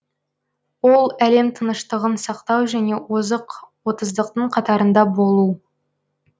ол әлем тыныштығын сақтау және озық отыздықтың қатарында болу